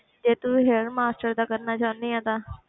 ਜੇ ਤੂੰ hair master ਦਾ ਕਰਨਾ ਚਾਹੁੰਦੀ ਹੈ ਤਾਂ